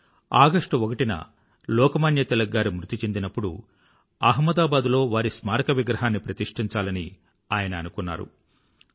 1920ఆగష్టు1న లోకమాన్య తిలక్ గారు మృతి చెందినప్పుడు అహ్మదాబాద్ లో వారి స్మారక విగ్రహాన్ని ప్రతిష్టించాలని ఆయన అనుకున్నారు